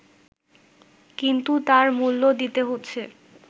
কিন্তু তার মূল্য দিতে হচ্ছে